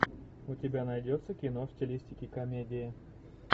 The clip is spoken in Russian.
у тебя найдется кино в стилистике комедии